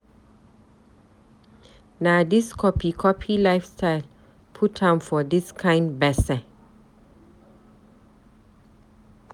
Na dis copy copy lifestyle put am for dis kind gbese.